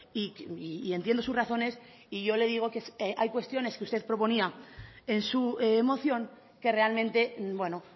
y entiendo sus razones y yo le digo que hay cuestiones que usted proponía en su moción que realmente bueno